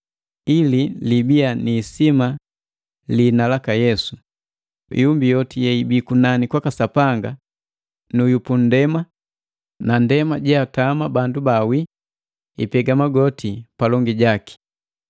ili libiya ni isima liina laka Yesu, iumbi yoti yeibi kunani kwaka Sapanga, nu yu pundema na ndema jeatama bandu bawii, ipega magoti palongi jaki,